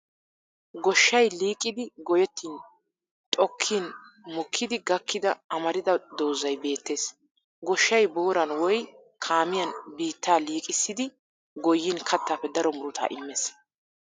Goshshay liiqidi goyettin xokkin mokkidi gakkida amarida doozzay beettes. Goshshay booran woy kaamiyan biittaa liiqissidi goyyin kattaappe daro murutaa immes.